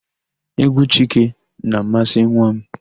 Égwú Chike na-amasị nwa m.